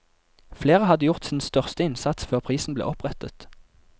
Flere hadde gjort sin største innsats før prisen ble opprettet.